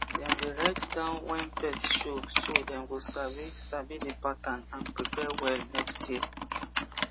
dem dey write down when pest show so dem go sabi sabi the pattern and prepare well next year